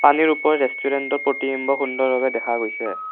পানীৰ ওপৰ ৰেষ্টোৰেন্তৰ প্ৰতিবিম্ব সুন্দৰ ভাৱে দেখা গৈছে।